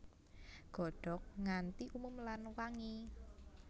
Godhog nganti umum lan wangi